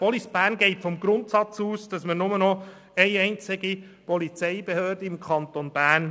Police Bern geht vom Grundsatz aus, dass wir im Kanton Bern nur noch eine einzige Polizeibehörde haben.